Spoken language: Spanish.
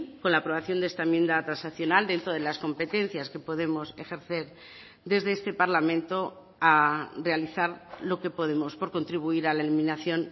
con la aprobación de esta enmienda transaccional dentro de las competencias que podemos ejercer desde este parlamento a realizar lo que podemos por contribuir a la eliminación